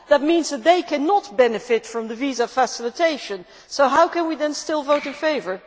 That means that they cannot benefit from visa facilitation. How can we then still vote in favour?